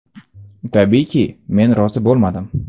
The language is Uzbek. Tabiiyki, men rozi bo‘lmadim.